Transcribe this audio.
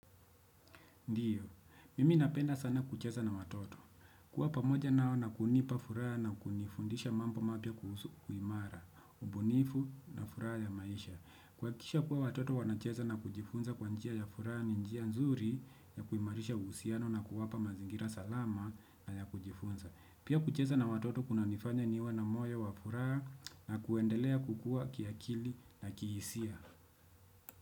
Ndiyo, mimi napenda sana kucheza na watoto. Kuwa pamoja nao na kunipa furaha na kunifundisha mambo mapya kuhusu kuimara, ubunifu na furaha ya maisha. Kuwakikisha kuwa watoto wanacheza na kujifunza kwa njia ya furaha ni njia nzuri ya kuimarisha uhusiano na kuwapa mazingira salama na ya kujifunza. Pia kucheza na watoto kunanifanya niwa na moyo wa furaha na kuendelea kukua kiakili na kihisia.